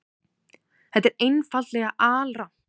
Þetta er einfaldlega alrangt.